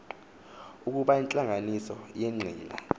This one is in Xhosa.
ukuba intlanganiso yenqila